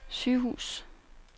sygehus